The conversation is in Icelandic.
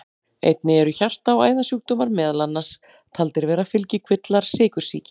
Einnig eru hjarta- og æðasjúkdómar meðal annars taldir vera fylgikvillar sykursýki.